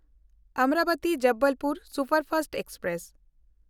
ᱚᱢᱨᱟᱵᱚᱛᱤ–ᱡᱚᱵᱚᱞᱯᱩᱨ superfast express